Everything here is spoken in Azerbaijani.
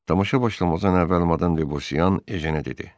Tamaşa başlamazdan əvvəl Madam Də Bosiyan, Ejenə dedi: